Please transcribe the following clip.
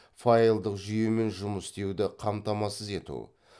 файлдық жүйемен жұмыс істеуді қамтамасыз ету